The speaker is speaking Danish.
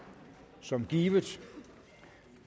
som givet